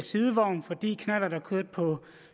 sidevogn fordi knallerter kørte på